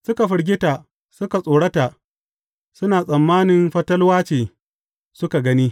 Suka firgita, suka tsorota, suna tsammani fatalwa ce suka gani.